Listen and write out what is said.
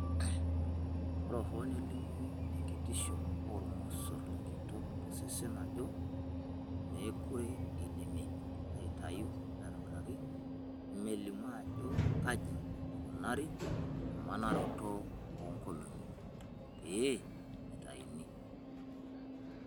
Ore hoo nelimu enkitisho oolmosorr lenkitok tosesen ajo meekure eidimi aitayu aitobiraki ,melimu ajo kaji eikunari emnaroto oo nkolong'i pee eitayuni.